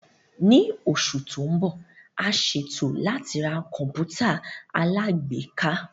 Ní oṣù tó ń bọ̀, a ṣètò láti ra Kọ̀m̀pútà alágbèéká